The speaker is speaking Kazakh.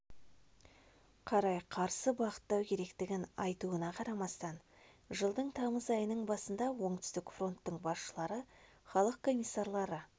қарай қарсы бағыттау керектігін айтуына қарамастан жылдың тамыз айының басында оңтүстік фронттың басшылары халық комиссарлары